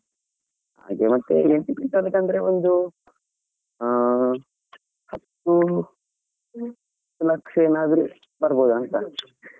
ಹಾಗೆ ಮತ್ತೆ ಅಂದ್ರೆ ಒಂದೂ ಹಾ ಹತ್ತು ಲಕ್ಷಾ ಏನಾದ್ರು ಬರ್ಬೋದಾ ಅಂತಾ.